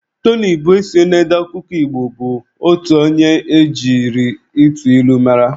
Tony Ubesie na-ede akwụkwọ Igbo bụ otu onye e jiri ịtụ ilu mara.